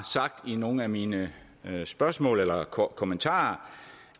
sagt i nogle af mine spørgsmål eller kommentarer